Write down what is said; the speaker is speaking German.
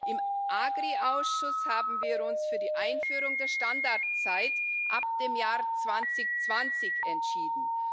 Im AGRI Ausschuss haben wir uns für die Einführung der Standardzeit ab dem Jahr 2020 entschieden.